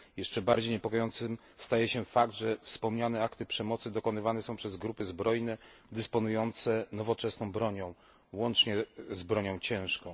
Jeszcze bardziej niepokojącym staje się fakt, że wspomniane akty przemocy dokonywane są przez grupy zbrojne dysponujące nowoczesną bronią, łącznie z bronią ciężką.